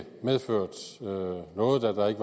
godt